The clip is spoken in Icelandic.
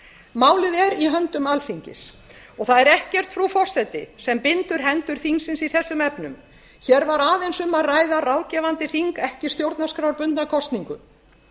málið er í höndum alþingis og það er ekkert frú forseti sem bindur hendur þingsins í þessum efnum hér var aðeins um að ræða ráðgefandi þing ekki stjórnarskrárbundna kosningu